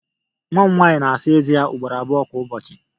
Nwa m nwanyị na-Asa Eze ya ugboro abụọ kwa ụbọchị